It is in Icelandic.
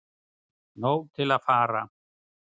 Nóg til að fara